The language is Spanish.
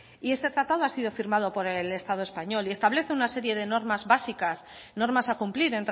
este tratado ha sido firmado por el estado español y establece una serie de normas básicas normas a cumplir